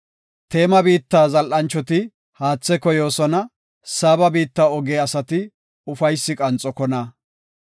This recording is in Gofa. Teema biitta zal7anchoti haathe koyoosona; Saaba biitta oge asati ufaysi qanxokona.